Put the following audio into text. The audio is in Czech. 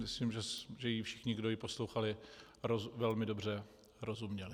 Myslím, že jí všichni, kdo ji poslouchali, velmi dobře rozuměli.